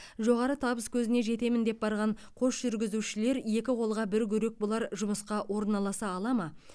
жоғары табыскөзіне жетемін деп барған қос жүргізушілер екі қолға бір күрек болар жұмысқа орналаса алады ма